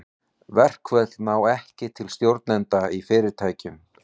Verkföll ná ekki til stjórnenda í fyrirtækjum.